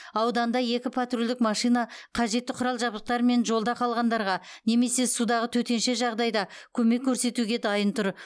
ауданда екі патрульдік машина қажетті құрал жабдықтармен жолда қалғандарға немесе судағы төтенше жағдайда көмек көрсетуге дайын тұр